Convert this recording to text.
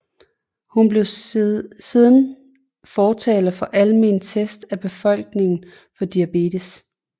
Hun blev siden fortaler for almene tests af befolkningen for diabetes